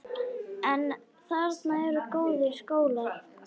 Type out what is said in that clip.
En þarna eru góðir skólar.